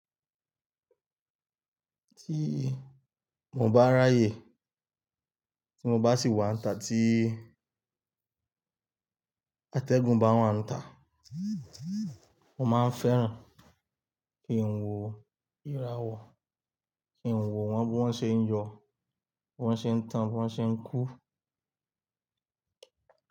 Tí mo bá ráyè tí mo bá sì wá ta tí atẹ́gùn bá wà ń íta, mo máa ń fẹ́ràn kí n wo írawọ, kí n wo wọ́n bí wọ́n ṣe ń yọ, wọ́n ṣe ń tan, wọ́n ṣe ń kú.